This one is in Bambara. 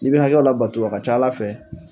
I bɛ hakɛw labato a ka ca Ala fɛ